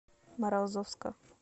морозовска